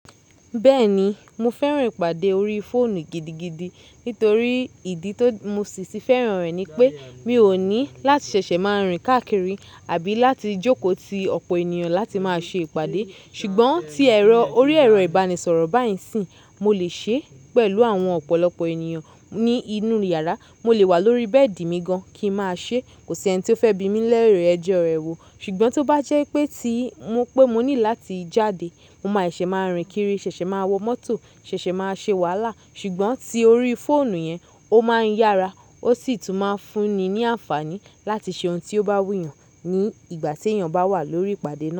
Bẹ́ẹ̀ ni, mo fẹ́ràn ìpàdé orí fóònù gidigidi nítorí ìdí tó mu ṣì ti fẹ́ràn rẹ̀ ni pé mi ò ní láti ṣẹ̀ṣẹ̀ máa rìn káàkiri àbí láti jókòó ti ọ̀pọ̀ ènìyàn láti máa ṣe ìpàdé. Ṣùgbọ́n tí ẹ̀rọ orí ẹ̀rọ ìbánisọ̀rọ̀ bá ìsìn, mo lè ṣe é pẹ̀lú àwọn ọ̀pọ̀lọpọ̀ ènìyàn ní inú yàrá. Mo lè wà lórí bẹ́ẹ̀dì mi gan kí máa ṣe é, kò sí ẹni tí ó fẹ́ bi mí lẹ́rẹ̀ ẹ́jọ́ rẹ wò. Ṣùgbọ́n tó bá jẹ́ pé tí mo pé mo ní láti jáde, mo máa ṣẹ̀ṣẹ̀ máa rìn kiri, ṣẹ̀ṣẹ̀ máa wọ mọ́tò, ṣẹ̀ṣẹ̀ máa ṣe wàhálà. Ṣùgbọ́n ti orí fóònù yẹn, ó máa ń yára ó sì tún máa ń fún ni ní àǹfààní láti ṣe ohun tí ó bá wù yàn ní ìgbà tí èèyàn bá wà lórí ìpàdé náà.